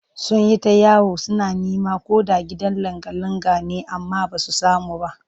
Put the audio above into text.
Sun yi ta yawo suna neman ko da gidan langa-langa ne amma ba su samu ba